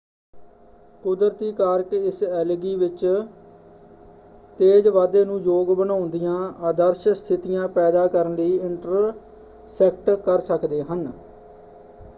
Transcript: ਕੁਦਰਤੀ ਕਾਰਕ ਇਸ ਐਲਗੀ ਵਿੱਚ ਤੇਜ਼ ਵਾਧੇ ਨੂੰ ਯੋਗ ਬਣਾਉਂਦਿਆਂ ਆਦਰਸ਼ ਸਥਿਤੀਆਂ ਪੈਦਾ ਕਰਨ ਲਈ ਇੰਟਰਸੈਕਟ ਕਰ ਸਕਦੇ ਹਨ।